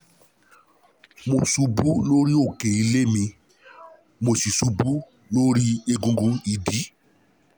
Mo ṣubú lórí òkè nílé mi, mo sì ṣubú lórí egungun ìdí